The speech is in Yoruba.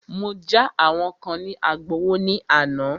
Mọ já àwọn kán ní Agbowó ní àná.